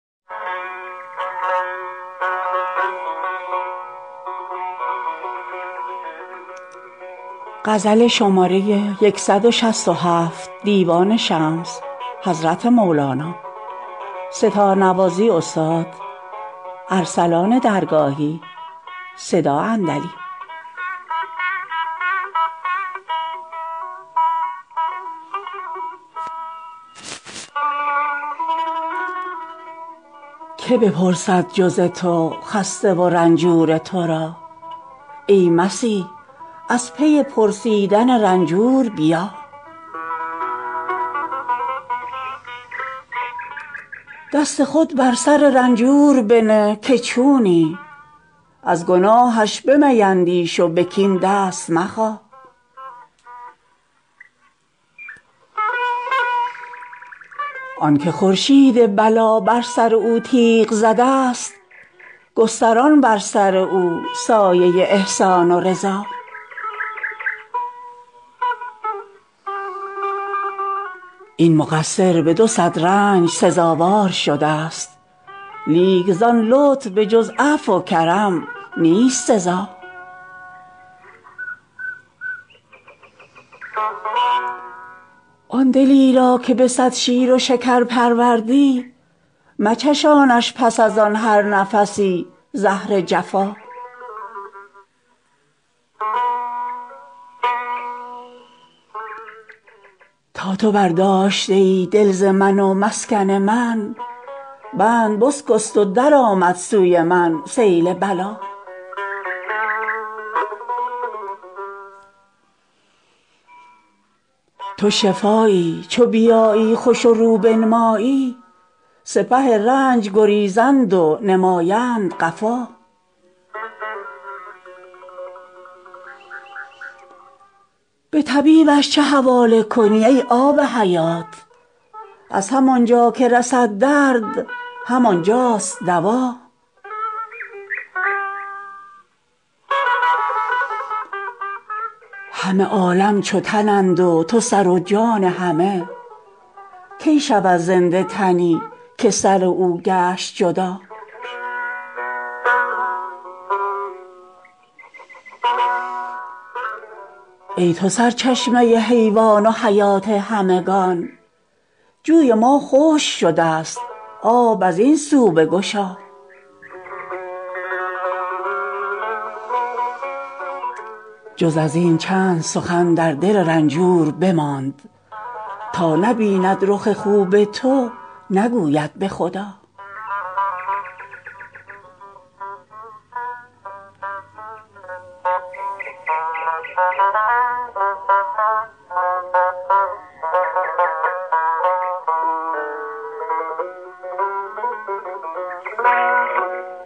کی بپرسد جز تو خسته و رنجور تو را ای مسیح از پی پرسیدن رنجور بیا دست خود بر سر رنجور بنه که چونی از گناهش بمیندیش و به کین دست مخا آنک خورشید بلا بر سر او تیغ زده ست گستران بر سر او سایه احسان و رضا این مقصر به دو صد رنج سزاوار شده ست لیک ز آن لطف به جز عفو و کرم نیست سزا آن دلی را که به صد شیر و شکر پروردی مچشانش پس از آن هر نفسی زهر جفا تا تو برداشته ای دل ز من و مسکن من بند بشکست و درآمد سوی من سیل بلا تو شفایی چو بیایی خوش و رو بنمایی سپه رنج گریزند و نمایند قفا به طبیبش چه حواله کنی ای آب حیات از همان جا که رسد درد همان جاست دوا همه عالم چو تنند و تو سر و جان همه کی شود زنده تنی که سر او گشت جدا ای تو سرچشمه حیوان و حیات همگان جوی ما خشک شده ست آب از این سو بگشا جز از این چند سخن در دل رنجور بماند تا نبیند رخ خوب تو نگوید به خدا